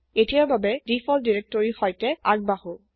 এতিয়াৰ বাবে দিফল্ট ডিৰেক্টৰীৰ সৈতে আগবাঢ়ো